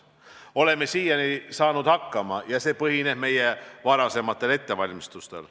Oleme siiani saanud hakkama ja see põhineb meie varasematel ettevalmistustel.